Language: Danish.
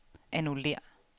annullér